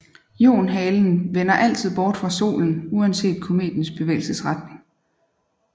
Ionhalen vender altid bort fra solen uanset kometens bevægelsesretning